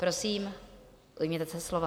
Prosím, ujměte se slova.